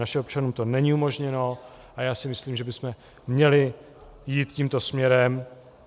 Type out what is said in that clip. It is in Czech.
Našim občanům to není umožněno a já si myslím, že bychom měli jít tímto směrem.